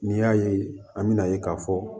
N'i y'a ye an bɛna ye k'a fɔ